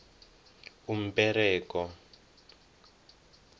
umberego